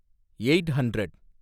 eight hundred